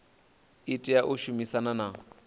i tea u shumisana na